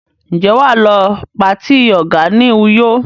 Ṣé wà á lọ patí ọ̀gá ní Uyo?